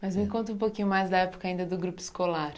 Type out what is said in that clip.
Mas me conta um pouquinho mais da época ainda do grupo escolar.